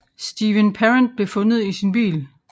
Steven Parent blev fundet i sin bil